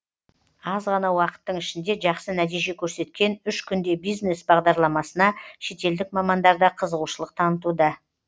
аз ғана уақыттың ішінде жақсы нәтиже көрсеткен үш күнде бизнес бағдарламасына шетелдік мамандар да қызығушылық танытуда